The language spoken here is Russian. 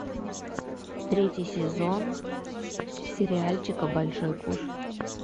третий сезон сериальчика большой куш